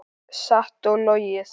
Satt og logið.